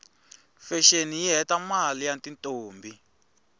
fashini yihhetamaie yatintombi